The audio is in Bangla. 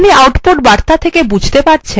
আপনি output বার্তা থেকে বুঝতে পারছেন